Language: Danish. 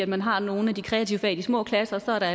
man har nogle af de kreative fag i de små klasser og der